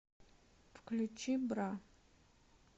включи бра